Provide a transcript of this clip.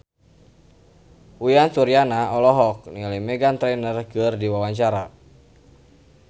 Uyan Suryana olohok ningali Meghan Trainor keur diwawancara